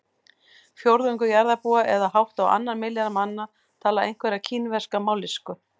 Fjórðungur jarðarbúa eða hátt á annan milljarð manna tala einhverja kínverska mállýsku.